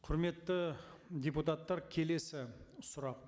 құрметті депутаттар келесі сұрақ